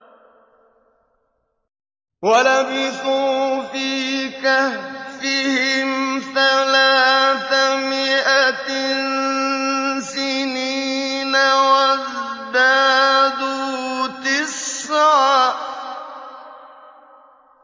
وَلَبِثُوا فِي كَهْفِهِمْ ثَلَاثَ مِائَةٍ سِنِينَ وَازْدَادُوا تِسْعًا